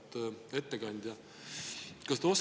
Auväärt ettekandja!